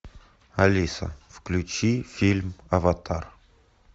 алиса включи фильм аватар